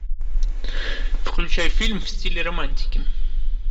включай фильм в стиле романтики